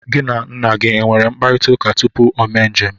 Gị na nna gị enwere mkparịtaụka tupu o mee njem?